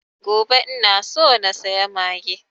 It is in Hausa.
Gobe ina so na saya mage